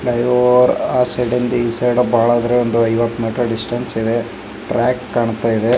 ಅಯ್ಯೋ ಆ ಸೈಡ್ ಯಿಂದ ಈ ಸೈಡ್ ಬಹಳ ಆದ್ರ ಒಂದ್ ಐವತ್ ಮೀಟರ್ ಡಿಸ್ಟೆನ್ಸ್ ಇದೆ. ಟ್ರ್ಯಾಕ್ ಕಾನ್ತಾಯಿದೆ.